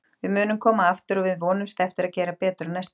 Við munum koma aftur og við vonumst eftir að gera betur á næsta ári.